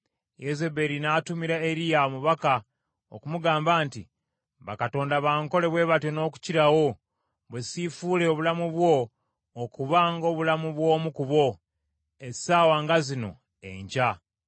Yezeberi n’atumira Eriya omubaka okumugamba nti, “Bakatonda bankole bwe batyo n’okukirawo, bwe siifuule obulamu bwo okuba ng’obulamu bw’omu ku bo, essaawa nga zino enkya.”